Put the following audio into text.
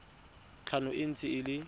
tlhano e ntse e le